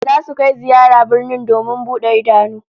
Zasu kai ziyara birni domin bude idanu